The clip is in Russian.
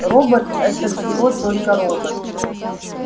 робот это всего только робот